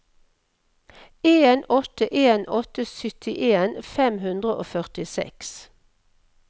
en åtte en åtte syttien fem hundre og førtiseks